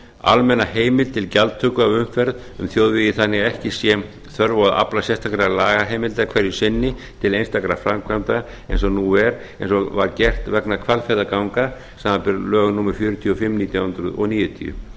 almenna heimild til gjaldtöku af umferð um þjóðvegi þannig að ekki sé þörf á að afla sérstakrar lagaheimildar hverju sinni til einstakra framkvæmda eins og nú er eins og var gert vegna hvalfjarðarganga samanber lög númer fjörutíu og fimm nítján hundruð níutíu það